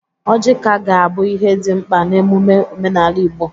Ọjị ka ga-abụ ihe dị mkpa n'emume omenala Igbo.